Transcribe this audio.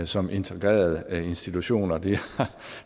som integrerede institutioner og det